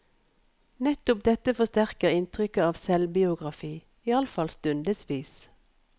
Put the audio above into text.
Nettopp dette forsterker inntrykket av selvbiografi, iallfall stundevis.